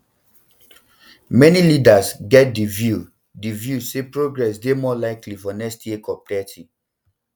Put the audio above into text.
many leaders get di view di view say progress dey more likely for next year copthirty